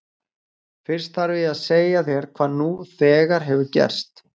Fyrst þarf ég að segja þér hvað nú þegar hefur gerst.